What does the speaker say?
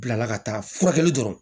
Bilala ka taa furakɛli dɔrɔn